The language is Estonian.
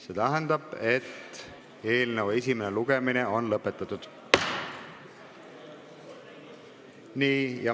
See tähendab, et eelnõu esimene lugemine on lõpetatud.